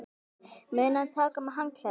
Munið að taka með handklæði!